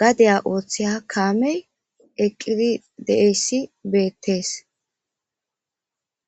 gadaya ooththeya kaamey eqqidi deeyssi beettees